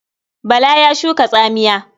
Bala ya shuka tsamiya.